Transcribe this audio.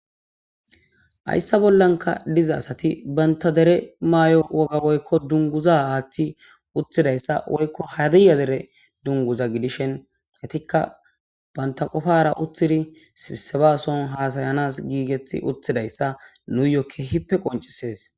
Hayssa bollankka diza asati banta dere maayo wogga woykko dunguza aaththi uttidayssa woykko hadiya dere dunguza gidishen etikka banta qofara uttidi sisebason haasayanas giigetti uttidayssa nuuyo kehippe qoncisees